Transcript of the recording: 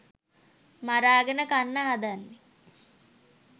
මරාගෙන කන්න හදන්නෙ?